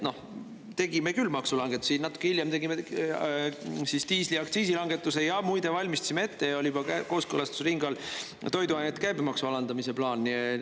Tegime küll maksulangetusi, natuke hiljem tegime diisliaktsiisi langetuse, ja muide valmistasime ette ja oli juba kooskõlastusringi all toiduainete käibemaksu alandamise plaan.